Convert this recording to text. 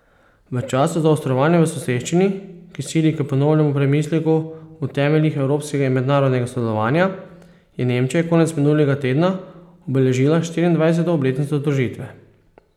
V času zaostrovanja v soseščini, ki sili k ponovnemu premisleku o temeljih evropskega in mednarodnega sodelovanja, je Nemčija konec minulega tedna obeležila štiriindvajseto obletnico združitve.